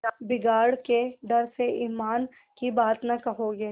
बिगाड़ के डर से ईमान की बात न कहोगे